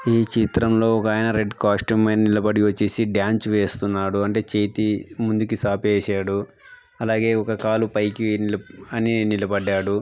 ఈ చిత్రం లో ఒక అయన రెడ్ కాస్టూమ్ పైన నిలబడి వచ్చేసి డ్యాన్స్ వేస్తున్నాడు అంటే చేతి ముందుకు సాపేసాడు అలాగే ఒక కాలు పైకి వె--అని నిలబడ్డాడు.